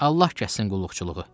Allah kəssin qulluqçuluğu.